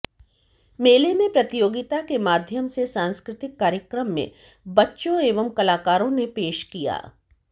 मेले में प्रतियोगिता के माध्यम से सांस्कृतिक कार्यक्रम में बच्चों एवं कलाकारों ने पेश किया